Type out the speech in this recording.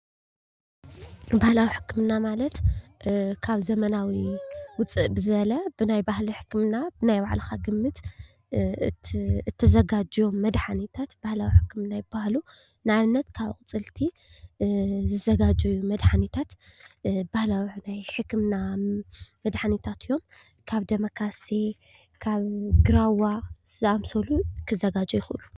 ባህላዊ ሕክምና ማለት እ ካብ ዘመናዊ ዉፅእ ዝበለ ብናይ ባህሊ ሕክምና ናይ ባዕልካ ግምት እተዘጋጅዮም መድሓኒታት ባህላዊ ሕክምና ይባሃሉ፡፡ ንኣብነት ካብ ኣቁፅልቲ ዝዘጋጀዉ መድሓኒታት ባህላዊ ናይ ሕክምና መድሓኒታት እዮም፡፡ ካብ ደመ ካሴ ካብ ግራዋ ዝኣምሰሉ ክዘጋጆ ይክእሉ፡፡